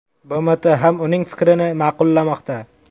BMT ham uning fikrini ma’qullamoqda.